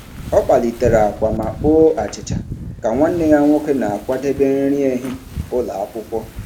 Ọ kpalitere akwa ma kpoo achịcha ka nwanne ya nwoke na-akwadebe nri ehihie ụlọ akwụkwọ.